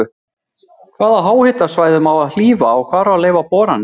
Hvaða háhitasvæðum á að hlífa og hvar á að leyfa boranir?